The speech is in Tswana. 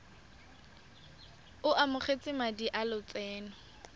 o amogetse madi a lotseno